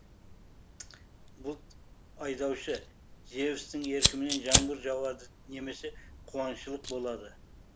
бұлт айдаушы зевстің еркімен жаңбыр жауады немесе қуаңшылық болады